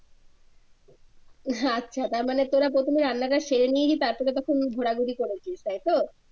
হ্যা আচ্ছা তারমানে তোরা প্রথমে রান্নাটা সেরে নিয়ে গিয়ে তারপরে প্রথমে ঘোরাঘুরি করেছিস তাইতো?